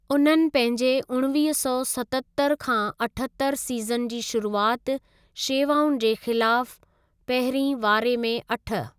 उन्हनि पंहिंजे उणिवींह सौ सतहतरि खां अठहतरि सीज़न जी शुरुआति शेवाउनि जे ख़िलाफ पहिरीं वारे में अठ।